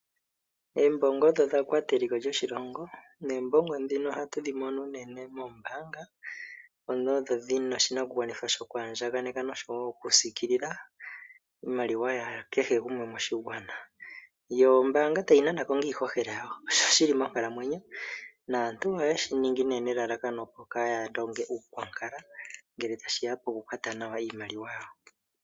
Oombongo odho dha kwata eliko lyoshilongo. Noombongo ohatu dhi mono unene moombaanga, mono odho dhina oshinakugwanithwa shoku andjaneka noshowoo okusiikililw iimaliwa ya kehe gumwe moshigwana. Yo ombaanga tayi nana iihohela, shili monkalamwenyo naantu oye shi ningi nelalakano opo kaaya longe nuunkwankala ngele tashi ya poku kwata nawa iimaliwa.